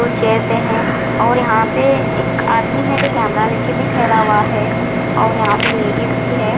Chair पे है और यहाँ पे एक आदमी है जो कैमरा लेके भी ठहरा हुआ है और यहाँ पे लेडीज भी है।